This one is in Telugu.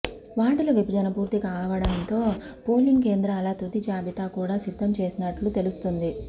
వార్డుల విభజన పూర్తి కావడంతో పోలింగ్ కేంద్రాల తుది జాబితా కూడా సిద్ధం చేస్తున్నట్టు తెలుస్తుంది